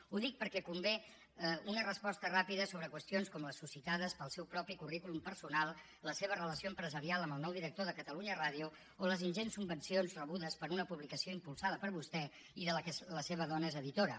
ho dic perquè convé una resposta ràpida sobre qüestions com les suscitades pel seu propi currículum personal la seva relació empresarial amb el nou director de catalunya ràdio o les ingents subvencions rebudes per una publicació impulsada per vostè i de la qual la seva dona és editora